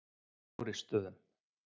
Þórisstöðum